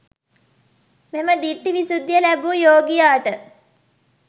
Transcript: මෙම දිට්ඨි විසුද්ධිය ලැබූ යෝගියාට